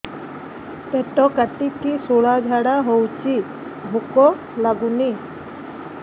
ପେଟ କାଟିକି ଶୂଳା ଝାଡ଼ା ହଉଚି ଭୁକ ଲାଗୁନି